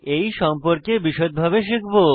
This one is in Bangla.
এই সম্পর্কে বিষদভাবে শিখব